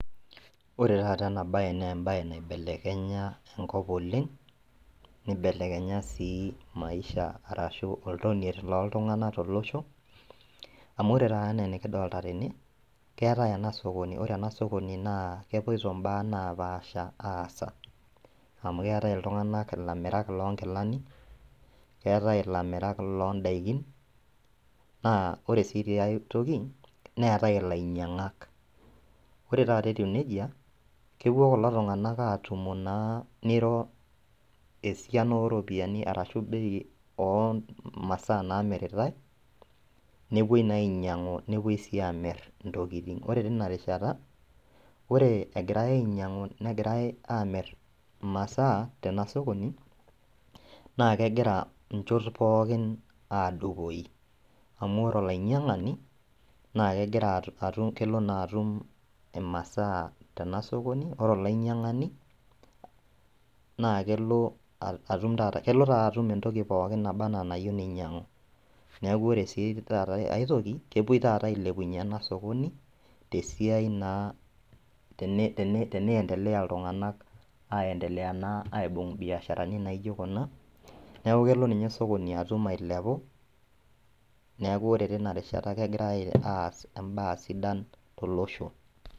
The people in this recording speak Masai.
Ore taata ena baye naa embaye nkibelekenya enkop oleng nkibelekenya sii oltonie lenkop oleng amu ore taa eena naa sokoni naa kepoito imbaa naapasha amu keetai iltung'anak ilamirak loonkilani ore sii tia toki ore tata etiu nejia kepuo kulo tung'anak atumu neito bei ashua esiana oomasaa naamiritae nepuo naa ainyiang'u nepuoi aamir intokitin imasaa tena sokoni naa kegira inchont pookin aadupoi amu ore olainyiang'ani naa kegira ore olainyiang'ani naa kelo atum entoki nayieu nainyiang'u ,teneendelea iltung'anak aibungu imbiasharani naijio kuna neeku kegirai aas embaye sidai tolosho